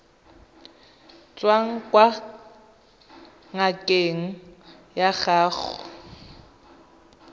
tswang kwa ngakeng ya gago